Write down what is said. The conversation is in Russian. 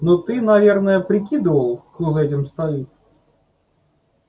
но ты наверное прикидывал кто за этим стоит